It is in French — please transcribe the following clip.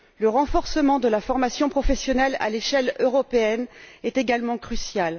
Le renforcement de la formation professionnelle à l'échelle européenne est également crucial.